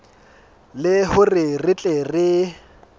le hore re tle re